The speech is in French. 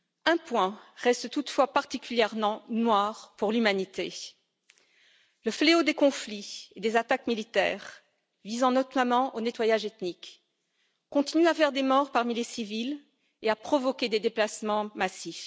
Un point reste toutefois particulièrement noir pour l'humanité le fléau des conflits et des attaques militaires, visant notamment au nettoyage ethnique, continue à faire des morts parmi les civils et à provoquer des déplacements massifs.